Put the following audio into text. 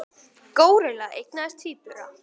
Górilla eignaðist tvíbura